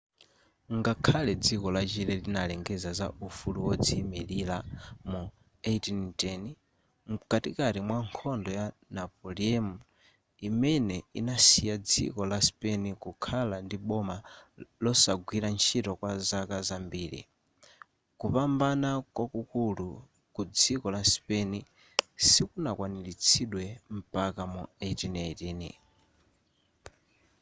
ngakhale dziko la chile linalengeza za ufulu wodziyimilira mu 1810 mkatikati mwa nkhondo ya napoleon imene inasiya dziko la spain kukhala ndi boma losagwira ntchito kwa zaka zambiri kupambana kwakukulu ku dziko la spain sikunakwaniritsidwe mpaka mu 1818